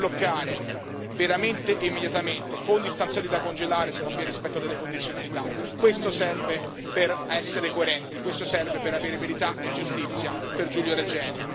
Export di armi da bloccare, veramente e immediatamente, fondi stanziati da congelare se non vi è rispetto delle condizionalità questo serve per essere coerenti, questo serve per avere verità e giustizia per Giulio Regeni.